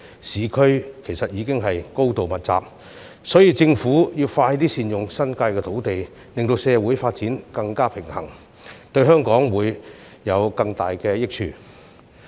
市區樓宇已高度密集，所以政府應加快善用新界土地，令社會發展更加平衡，這樣才會對香港帶來更大益處。